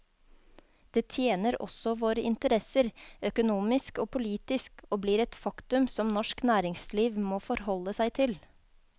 Det tjener også våre interesser, økonomisk og politisk, og blir et faktum som norsk næringsliv må forholde seg til.